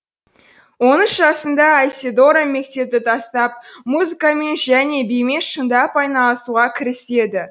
он үш жасында айседора мектепті тастап музыкамен және бимен шындап айналысуға кіріседі